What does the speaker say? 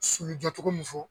Sulu jɔ cogo min fɔ